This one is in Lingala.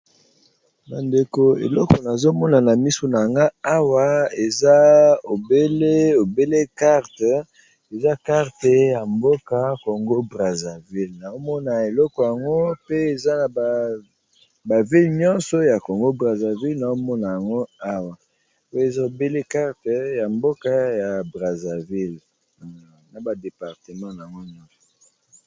Ba ndeko eleko nazomona na misu nanga awa aza obele carte eza carte ya mboka congo brazarville, naomona eleko yango pe eza na ba vile nyonso ya congo brazarville naomona yango awa eza ebele carte ya mboka ya brazaville na ba departemant na yango nyonso.